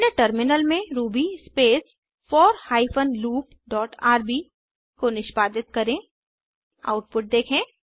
अपने टर्मिनल में Ruby space four hyphen loop dot RB को निष्पादित करें आउटपुट देखें